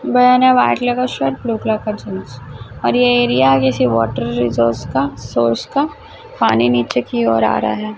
White colour का shirt blue colour का jeans और ये एरिया किसी वॉटर रिजोर्स का सोर्स का पानी नीचे की ओर आ रहा है।